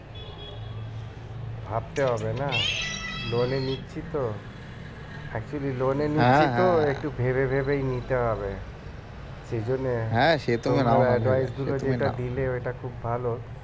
ভাবতে হবে না loan এ নিচ্ছি তো actually loan এ নিচ্ছি তো একটু ভেবে ভেবেই নিতে হবে সেই জন্যে দিলে ওইটা খুব ভালো